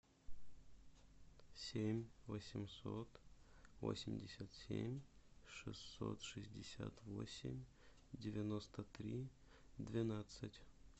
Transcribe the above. семь восемьсот восемьдесят семь шестьсот шестьдесят восемь девяносто три двенадцать